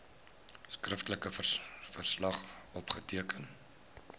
skriftelike verslag opgeteken